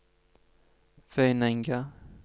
Vøyenenga